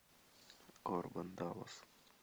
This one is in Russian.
корбен даллас